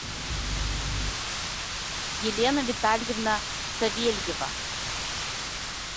елена витальевна савельева